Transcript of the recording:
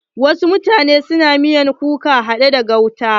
Wasu mutanen na miyar kuka haɗe da gauta.